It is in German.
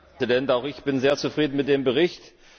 Herr Präsident! Auch ich bin sehr zufrieden mit dem Bericht.